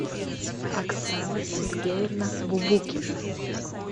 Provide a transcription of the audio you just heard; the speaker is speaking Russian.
оксана сергеевна бубукина